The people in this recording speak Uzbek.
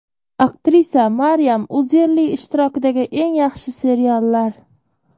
Aktrisa Maryam Uzerli ishtirokidagi eng yaxshi seriallar .